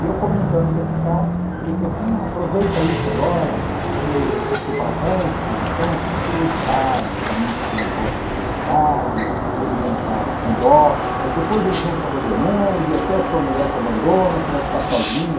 E eu comentando com esse cara, ele falou assim, aproveita isso agora, porque você ficou paraplégico, então é tudo curiosidade, os amigos estão em volta com curiosidade, todo mundo está com dó, mas depois eles vão te abandonando e até sua mulher te abandona, você vai ficar sozinho.